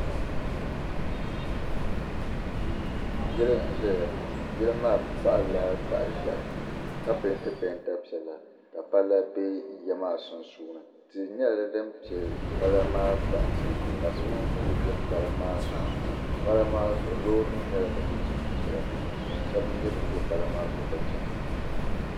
Yili nzayaŋɔ yili maa. kpahila, tahi ʒɛhi ka pɛɛnti pɛɛnta piɛla ka pala be ya maa sunsuuni, tihi nyɛla dinpɛ pala maa kpa nsi ka suming pili be pala maa sunsuuni pala maa zuɣu lɔɔri nim nyɛla din ʒɛn ʒɛya ka shabi nyɛ ban be pala maa zuɣu ka chana